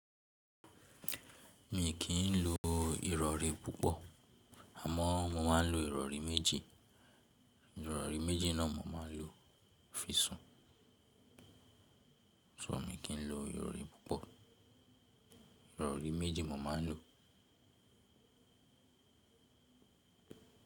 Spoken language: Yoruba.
Mi kì í lo ìrọ̀rí púpọ̀ àmọ́ mo máa ń lo ìrọ̀rí méjì. Ìrọ̀rí méjì náà mo máa ń lo fi sùn. So mi kì í lo ìrọ̀rí púpọ̀, ìrọ̀rí méjì mo máa ń lo.